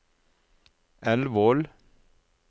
Elvål